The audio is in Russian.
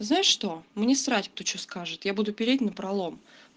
знаешь что мне срать кто что скажет я буду переть напролом